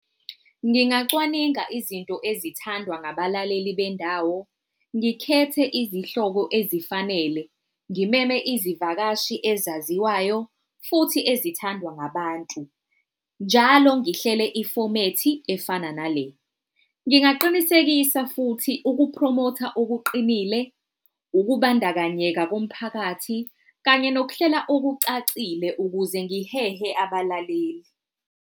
Ngingacwaninga izinto ezithandwa ngabalaleli bendawo, ngikhethe izihloko ezifanele, ngimeme izivakashi ezaziwayo futhi ezithandwa ngabantu. Njalo ngihlele ifomethi efana nale. Ngingaqinisekisa futhi uku-promote-a okuqinile, ukubandakanyeka komphakathi kanye nokuhlela okucacile ukuze ngihehe abalaleli.